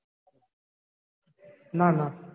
ના ના